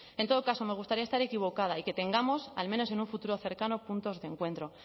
en todo caso me gustaría estar equivocada y que tengamos al menos en un futuro cercano puntos de encuentro